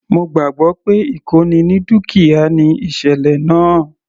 Mo gbàgbọ́ pé ìkóni ní dúkìá ni ìsẹ̀lẹ̀ náà.